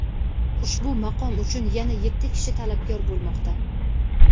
Ushbu maqom uchun yana yetti kishi talabgor bo‘lmoqda.